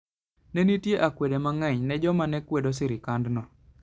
Ne nitie akwede mang'eny ne joma ne kwedo sirkandno.